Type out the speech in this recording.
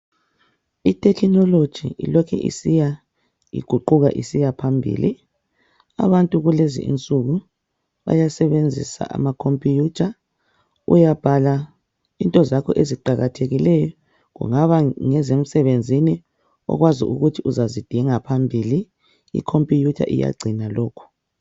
Itekinoloji ilokhe isiya iguquka isiya phambili. Abantu kulezi insuku bayasebenzisa amakompiyuta. Uyabhala into zakho eziqakathekileyo. Kungaba ngezemsebenzini okwazi ukuthi uzazidinga phambili ikompiyuta iyagcina lokhu.